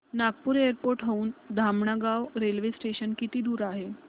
Nagpur airport हून Dhamangaon railway station किती दूर आहे